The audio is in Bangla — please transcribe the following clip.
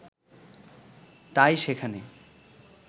তাই সেখানে